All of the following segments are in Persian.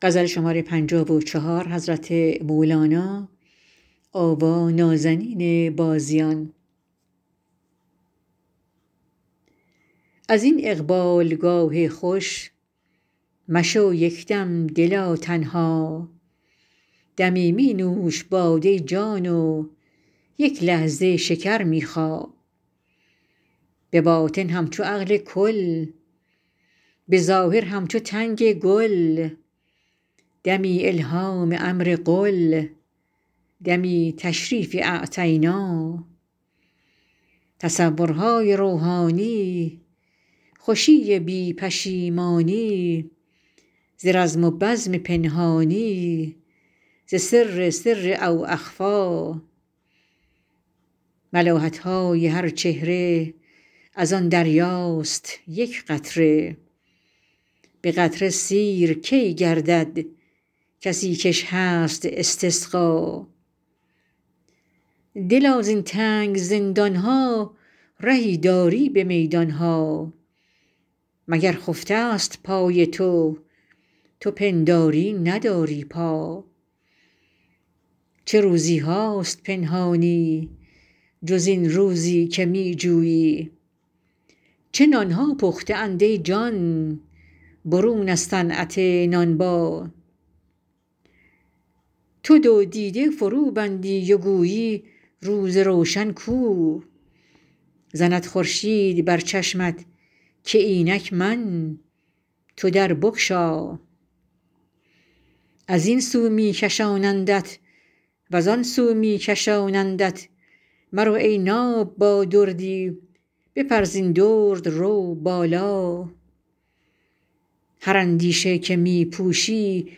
از این اقبالگاه خوش مشو یک دم دلا تنها دمی می نوش باده جان و یک لحظه شکر می خا به باطن همچو عقل کل به ظاهر همچو تنگ گل دمی الهام امر قل دمی تشریف اعطینا تصورهای روحانی خوشی بی پشیمانی ز رزم و بزم پنهانی ز سر سر او اخفی ملاحت های هر چهره از آن دریاست یک قطره به قطره سیر کی گردد کسی کش هست استسقا دلا زین تنگ زندان ها رهی داری به میدان ها مگر خفته ست پای تو تو پنداری نداری پا چه روزی هاست پنهانی جز این روزی که می جویی چه نان ها پخته اند ای جان برون از صنعت نانبا تو دو دیده فروبندی و گویی روز روشن کو زند خورشید بر چشمت که اینک من تو در بگشا از این سو می کشانندت و زان سو می کشانندت مرو ای ناب با دردی بپر زین درد رو بالا هر اندیشه که می پوشی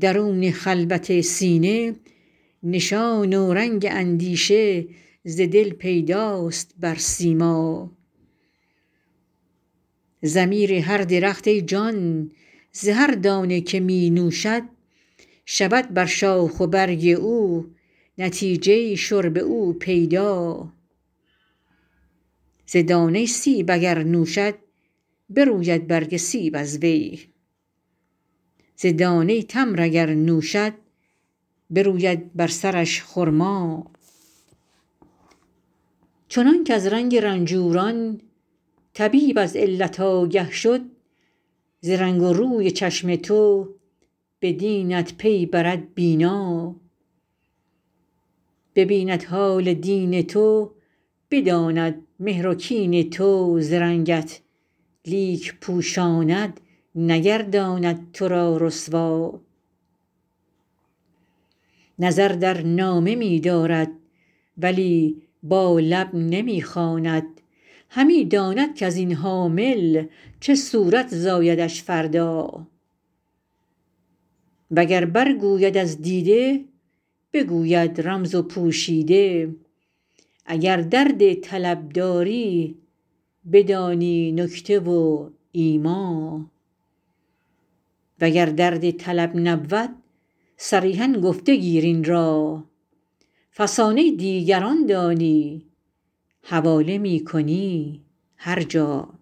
درون خلوت سینه نشان و رنگ اندیشه ز دل پیداست بر سیما ضمیر هر درخت ای جان ز هر دانه که می نوشد شود بر شاخ و برگ او نتیجه شرب او پیدا ز دانه سیب اگر نوشد بروید برگ سیب از وی ز دانه تمر اگر نوشد بروید بر سرش خرما چنانک از رنگ رنجوران طبیب از علت آگه شد ز رنگ و روی چشم تو به دینت پی برد بینا ببیند حال دین تو بداند مهر و کین تو ز رنگت لیک پوشاند نگرداند تو را رسوا نظر در نامه می دارد ولی با لب نمی خواند همی داند کز این حامل چه صورت زایدش فردا وگر برگوید از دیده بگوید رمز و پوشیده اگر درد طلب داری بدانی نکته و ایما وگر درد طلب نبود صریحا گفته گیر این را فسانه دیگران دانی حواله می کنی هر جا